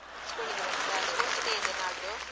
School day ಗೆ ಬರ್ತಿಯಾ? sports day ಇದೆ ನಾಳ್ದು.